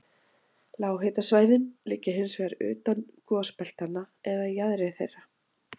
Lághitasvæðin liggja hins vegar utan gosbeltanna eða í jaðri þeirra.